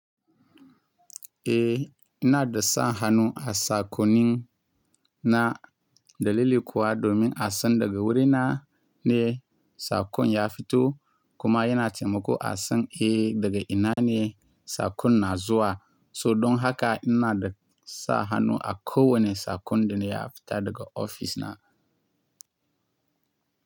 Eh ina da sa hannu a sakonina dalili kuwa domin a san daga wurina ne sakon ya fito kuma yana taimako a san eh daga ina ne sakon na zuwa. So don haka ina da sa hannu a kowane sakon da na ya fita daga ofis na.